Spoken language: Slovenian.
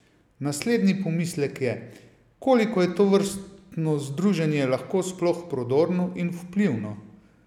Naslednji pomislek je, koliko je tovrstno združenje lahko sploh prodorno in vplivno?